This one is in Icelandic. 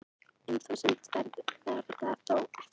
Um þúsund verða þó eftir